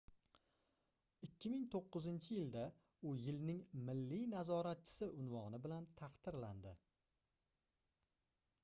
2009-yilda u yilning milliy nazoratchisi unvoni bilan taqdirlandi